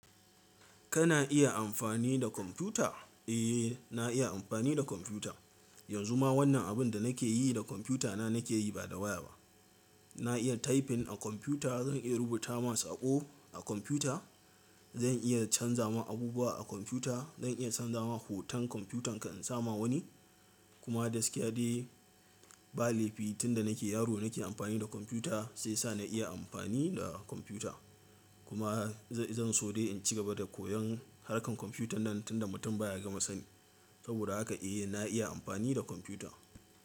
Kana iya amfani da kwamfuta? Eh, na iya amfani da kwamfuta. Yanzu ma wannan abin da nake yi da kwamfutana nake yi ba da waya ba. Na iya typing a kwamfuta, zan iya rubuta ma saƙo a kwamfuta. Zan iya canza ma abubuwa a kwamfuta. Zan iya canza ma hoton kwamfutan ka in sama wani. Kuma gaskiya dai ba laifi tunda nake yaro nake amfani da kwamfuta, shi yasa na iya amfani da kwamfuta. Kuma zan so dai in ci gaba da koyon harkar kwamfutan nan tunda mutum ba ya gama sani. Saboda haka eh na iya amfani da kwamfuta.